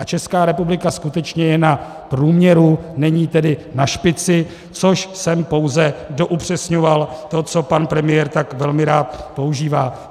A Česká republika skutečně je na průměru, není tedy na špici, což jsem pouze doupřesňoval to, co pan premiér tak velmi rád používá.